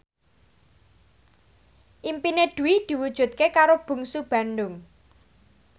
impine Dwi diwujudke karo Bungsu Bandung